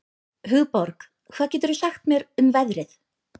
Hugborg, hvað geturðu sagt mér um veðrið?